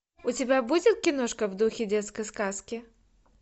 у тебя будет киношка в духе детской сказки